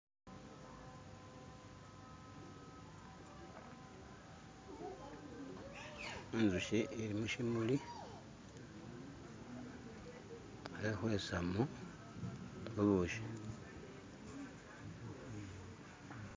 inzushi ili mushimuli khekhwesamo bubushi.